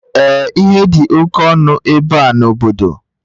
Ee ihe dị oke ọnụ ebe a n'obodo.